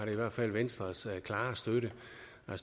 i hvert fald venstres klare støtte